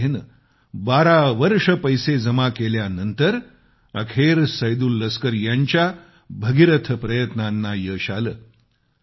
अशा तऱ्हेने 12 वर्षे पैसे जमा केल्यानंतर अखेर सैदूल लस्कर यांच्या भगीरथ प्रयत्नांना यश आलं